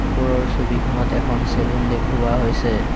ওপৰৰ ছবিখনত এখন চেলুন দেখুওৱা হৈছে।